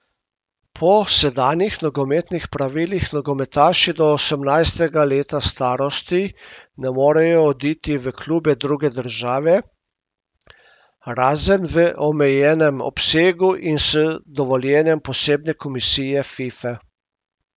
Po sedanjih nogometnih pravilih nogometaši do osemnajstega leta starosti ne morejo oditi v klube druge države, razen v omejenem obsegu in s dovoljenjem posebne komisije Fife.